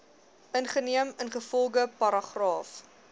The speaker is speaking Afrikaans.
geneem ingevolge paragraaf